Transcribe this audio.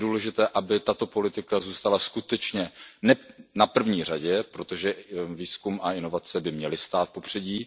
Je důležité, aby tato politika zůstala skutečně na prvním místě, protože výzkum a inovace by měly stát v popředí.